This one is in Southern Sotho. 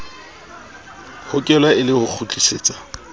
hokelwa e le ho kgutlisetsa